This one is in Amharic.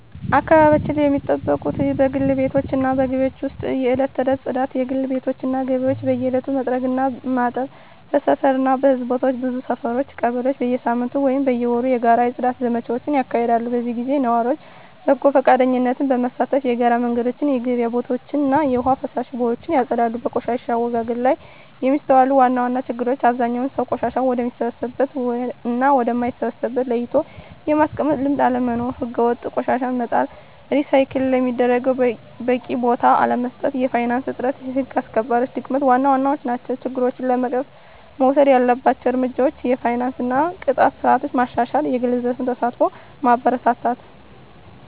አካባቢያቸውን ሚጠብቁት በግል ቤቶች እና በግቢዎች ውስጥ የዕለት ተዕለት ጽዳት: የግል ቤቶች እና ግቢዎች በየዕለቱ መጥረግ እና ማጠብ። በሰፈር እና በሕዝብ ቦታዎች ብዙ ሰፈሮች (ቀበሌዎች) በየሳምንቱ ወይም በየወሩ የጋራ የጽዳት ዘመቻዎች ያካሂዳሉ። በዚህ ጊዜ ነዋሪዎች በጎ ፈቃደኝነት በመሳተፍ የጋራ መንገዶችን፣ የገበያ ቦታዎችን እና የውሃ ፍሳሽ ቦዮችን ያጸዳሉ። በቆሻሻ አወጋገድ ላይ የሚስተዋሉ ዋና ዋና ችግሮች አብዛኛው ሰው ቆሻሻን ወደሚበሰብስ እና ወደ ማይበሰብስ ለይቶ የማስቀመጥ ልምድ አለመኖር። ሕገወጥ ቆሻሻ መጣል፣ ሪሳይክል ለሚደረጉት በቂ ቦታ አለመስጠት፣ የፋይናንስ እጥረት፣ የህግ አስከባሪነት ድክመት ዋና ዋናዎቹ ናቸው። ችግሮችን ለመቅረፍ መወሰድ ያለባቸው እርምጃዎች የፋይናንስ እና የቅጣት ስርዓት ማሻሻል፣ የግል ዘርፍ ተሳትፎን ማበረታታት፣ …